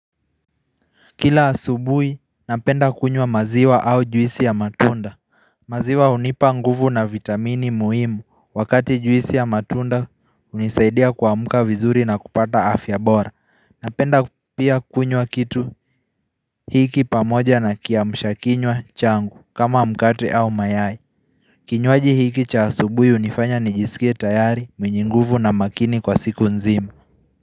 Kila asubui napenda kunywa maziwa au juisi ya matunda maziwa unipa nguvu na vitamini muhimu wakati juisi ya matunda unisaidia kwamuka vizuri na kupata afyabora Napenda pia kunywa kitu hiki pamoja na kiamshakinwa changu kama mkate au mayai Kinyuaji hiki cha asubui unifanya nijisikie tayari mwenye nguvu na makini kwa siku nzima.